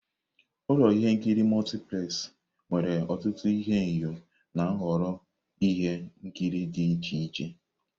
Ụlọ ihe nkiri Multiplex nwere ọtụtụ ihuenyo na nhọrọ ihe nkiri dị iche iche.